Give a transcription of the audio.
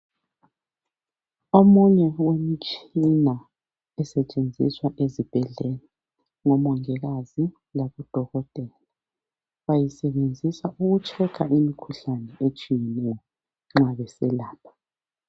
Omunye womtshina osetshenziswa ezibhedlela ngomongikazi labodokotela, bayisebenzisa ukutshekha imkhuhlane etshiyeneyo nxa beselapha.